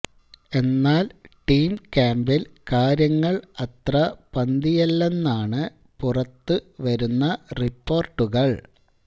എന്നാല് ടീം ക്യാംപില് കാര്യങ്ങള് അത്ര പന്തിയല്ലെന്നാണ് പുറത്ത് വരുന്ന റിപ്പോര്ട്ടുകള്